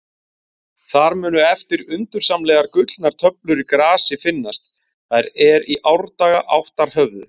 Þar munu eftir undursamlegar gullnar töflur í grasi finnast, þær er í árdaga áttar höfðu.